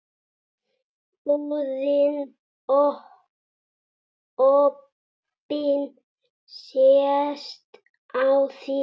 Búðin opin sést á þér.